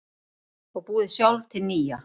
Og búið sjálf til nýja.